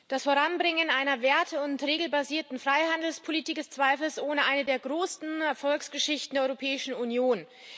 Das Voranbringen einer werte und regelbasierten Freihandelspolitik ist zweifelsohne eine der größten Erfolgsgeschichten der Europäischen Union.